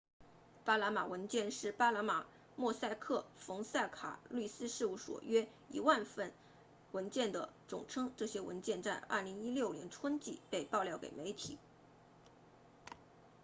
巴拿马文件是巴拿马莫萨克冯塞卡律师事务所 mossack fonseca 约 1,000 万份文件的总称这些文件在2016年春季被爆料给媒体